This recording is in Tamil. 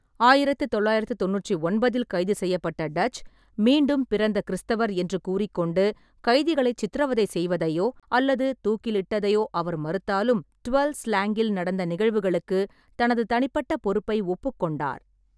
ஆயிரத்து தொள்ளாயிரத்து தொண்ணூற்று ஒன்பததில் கைது செய்யப்பட்ட டச், மீண்டும் பிறந்த கிறிஸ்தவர் என்று கூறிக்கொண்டு, கைதிகளை சித்திரவதை செய்வதையோ அல்லது தூக்கிலிட்டதையோ அவர் மறுத்தாலும், டுவெல்ஸ் ஸ்லேங்கில் நடந்த நிகழ்வுகளுக்கு தனது தனிப்பட்ட பொறுப்பை ஒப்புக்கொண்டார்.